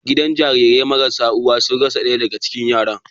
Gidan kula da Jarirai marasa uwa sun rasa ɗaya daga cikin yaran.